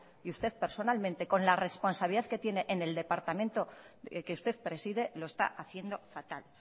y usted personalmente con la responsabilidad que tiene en el departamento que usted preside lo está haciendo fatal